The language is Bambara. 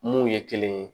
Mun ye kelen ye